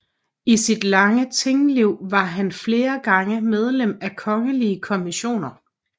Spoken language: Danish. I sit lange tingliv var han flere gange medlem af kongelige kommissioner